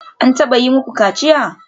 An taba yi muku kaciya?